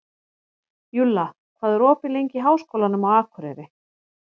Júlla, hvað er opið lengi í Háskólanum á Akureyri?